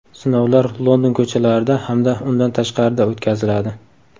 Sinovlar London ko‘chalarida hamda undan tashqarida o‘tkaziladi.